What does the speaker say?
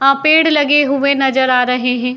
आ पेड़ लगे हुए नज़र आ रहे हैं।